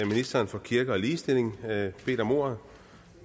ministeren for kirke og ligestilling bedt om ordet